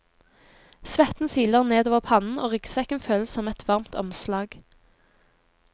Svetten siler nedover pannen og ryggsekken føles som et varmt omslag.